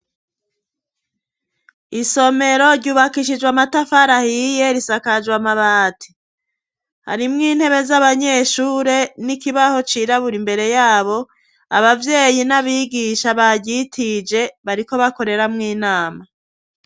Isomero ryubakishijwe amatafari ahiye risakajwe amabati. Harimwo intebe z'abanyeshure n'ikibaho cirabura imbere yabo, abavyeyi n'abigisha baryitije bariko bakoreramwo inama.